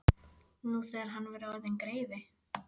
Nú þegar hann væri orðinn greifi.